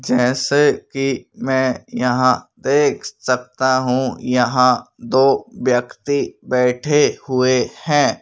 जैसे कि मैं यहां देख सकता हूं यहां तो व्यक्ति बैठे हुए हैं।